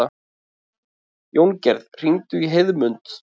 Jóngerð, hringdu í Heiðmund.